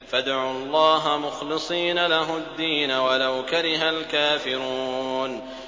فَادْعُوا اللَّهَ مُخْلِصِينَ لَهُ الدِّينَ وَلَوْ كَرِهَ الْكَافِرُونَ